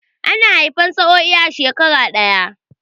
Ana haifan sa'oi ne a shekara ɗaya